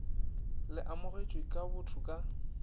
le amogetšwe ka botho ka